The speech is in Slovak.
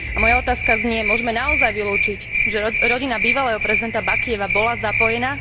Moja otázka znie môžeme naozaj vylúčiť, že rodina bývalého prezidenta Bakijeva bola zapojená?